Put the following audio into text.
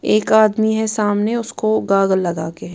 एक आदमी है सामने उसको गागल लगाके है।